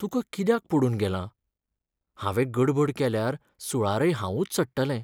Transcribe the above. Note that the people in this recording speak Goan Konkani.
तुका कित्याक पडून गेलां? हांवें गडबड केल्यार सुळारय हांवूच चडटलें.